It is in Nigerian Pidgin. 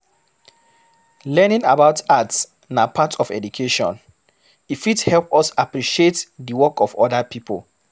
Learning about art na part of education, e fit help us appreciate the work of oda pipo